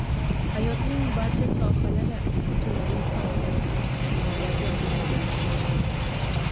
Hayotning barcha sohalari, butun insoniyat qattiq sinovlarga duch kelmoqda.